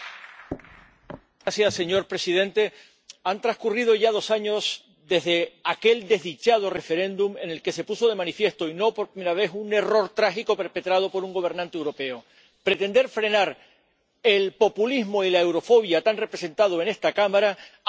Señor presidente, han transcurrido ya dos años desde aquel desdichado referéndum en el que se puso de manifiesto —y no por primera vez— un error trágico perpetrado por un gobernante europeo pretender frenar el populismo y la eurofobia, tan representados en esta Cámara, abrazando sus banderas.